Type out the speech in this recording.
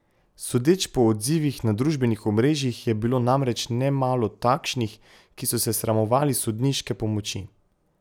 Sodeč po odzivih na družbenih omrežjih je bilo namreč nemalo takšnih, ki so se sramovali sodniške pomoči.